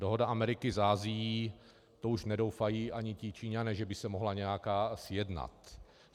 Dohoda Ameriky s Asií - to už nedoufají ani ti Číňané, že by se mohla nějaká sjednat.